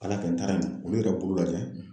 Ala y'a kɛ n taara yen, olu yɛrɛ ye bolo lajɛ